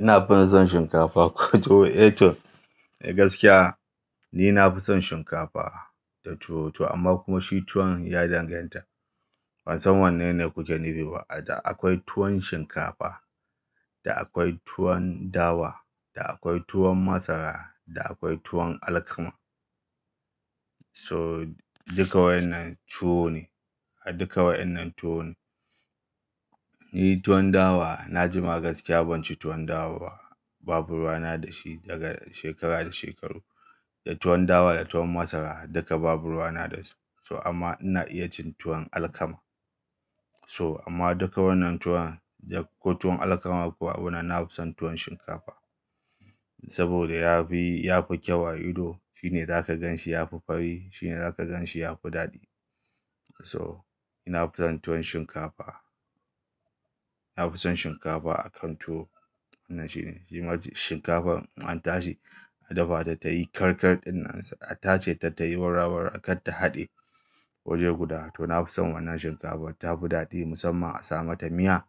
Ina fi son shinkafa, tuwo. Eh toh, gaskiya ni na fi son shinkafa da tuwo to amma kuma shi tuwon ya danganta bansan wannene kuke nufiba. Da akwai tuwon shinkafa, da akwai tuwon dawa, da akwai tuwon masara, da akwai tuwon alkama. So duka wayannan tuwo ne, duka wayannan tuwo ne. Ni tuwon dawa na jima gaskiya ban ci tuwon dawa ba. Babu ruwa na da shi daga shekara da shekaru. Da tuwon dawa, da tuwon masara duka babu ruwana da su. So amma ina iya cin tuwon alkama. So amma duka wannan tuwon da ko tuwon alkama ko abuna, na fi son tuwon shinkafa. Saboda ya fi, ya fi kyau a ido. Shi ne za ka gan shi ya fi fari, shi ne za ka gan shi ya fi daɗi. To ina fi son tuwon shinkafa. Na fi son shinkafa a kan tuwo. Wannan shine shi shinkafan in an tashi a dafa ta tayi karkar ɗin nan, a tace ta tayi wara wara katta haɗe waje guda. To na fi son wannan shinkafar ta fi daɗi musamman a sa mata miya.